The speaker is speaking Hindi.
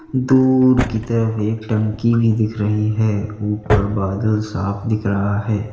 दूर की तरफ एक टंकी भी दिख रही है ऊपर बादल साफ दिख रहा है।